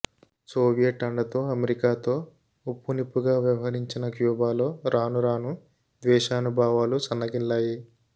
Soviet అండతో అమెరి కాతో ఉప్పునిప్పుగా వ్యవహరించిన క్యూబాలో రాను రాను ద్వేషభావాలు సన్నగిల్లాయి